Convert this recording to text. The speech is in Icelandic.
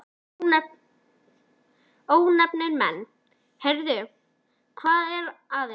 Ónefndir menn: Heyrðu, hvað er að ykkur?